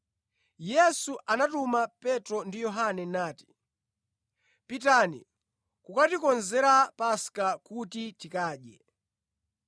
Yesu anatuma Petro ndi Yohane nati, “Pitani kukatikonzera Paska kuti tikadye.”